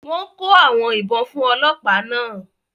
Wọ́n kó àwọn ìbọn fún ọlọ́pàá náà